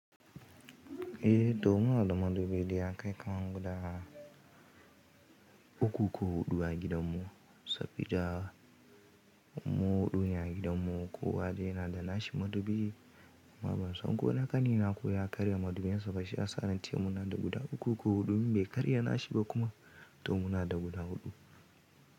Eh to muna da madubi dai ya kai kaman guda uku ko huɗu a gidan mu sabida mu huɗu ne a gidan mu. Ko wane yana da nashi madubi amma ban san ko na ƙani na kuwa ya karya madubin sa ba shi ya sa na ce muna da guda uku ko huɗu. In bai karya nashi ba kuma to muna da guda huɗu.